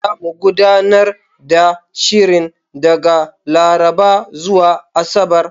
Zamu gudanar da shirin daga Laraba zuwa Asabar.